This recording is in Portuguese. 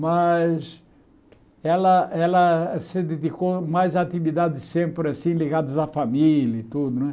Mas ela ela se dedicou mais a atividades sempre assim ligadas à família e tudo, né?